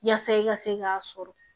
Yaasa i ka se k'a sɔrɔ